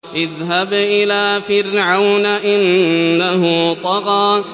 اذْهَبْ إِلَىٰ فِرْعَوْنَ إِنَّهُ طَغَىٰ